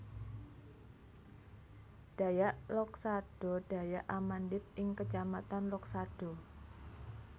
Dayak Loksado Dayak Amandit ing kecamatan Loksado